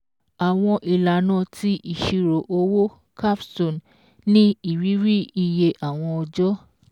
Àwọn ìlànà ti ìṣirò owó CAPSTONE ní ìrírí iye àwọn ọjọ́